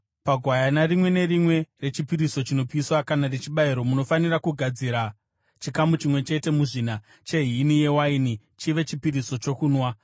Pagwayana rimwe nerimwe rechipiriso chinopiswa kana rechibayiro, munofanira kugadzira chikamu chimwe chete muzvina chehini yewaini chive chipiriso chokunwa.